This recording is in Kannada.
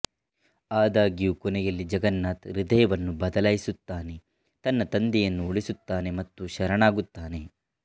ಆದಾಗ್ಯೂ ಕೊನೆಯಲ್ಲಿ ಜಗನ್ನಾಥ್ ಹೃದಯವನ್ನು ಬದಲಾಯಿಸುತ್ತಾನೆ ತನ್ನ ತಂದೆಯನ್ನು ಉಳಿಸುತ್ತಾನೆ ಮತ್ತು ಶರಣಾಗುತ್ತಾನೆ